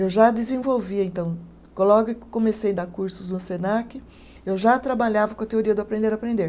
Eu já desenvolvia, então, logo que comecei dar cursos no Senac, eu já trabalhava com a teoria do aprender-aprender.